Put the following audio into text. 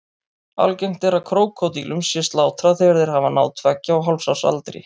Algengt er að krókódílum sé slátrað þegar þeir hafa náð tveggja og hálfs árs aldri.